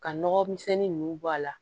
Ka nɔgɔmisɛnnin ninnu bɔ a la